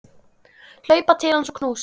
Hlaupa til hans og knúsa.